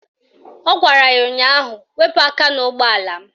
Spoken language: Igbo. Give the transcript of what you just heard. Ọ gwara ya ụnyaahụ "Wepu aka n'ụgbọala m"!